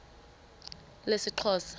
lesixhosa